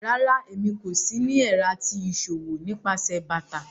Rárá, èmí kò sì ni ẹ̀rà ti iṣọwọ̀ nípasẹ̀ bátà.